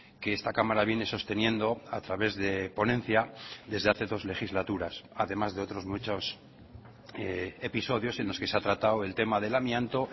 que esta cámara viene sosteniendo a través de ponencia desde hace dos legislaturas además de otros muchos episodios en los que se ha tratado el tema del amianto